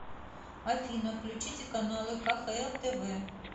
афина включите каналы кхл тв